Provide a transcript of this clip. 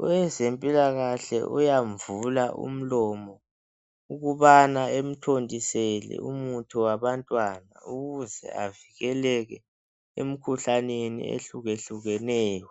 Owezempilakahle uyamvula umlomo, ukubana emthontisele umuthi wabantwana. Ukuze avikeleke, emikhuhlaneni, ehlukehlukeneyo.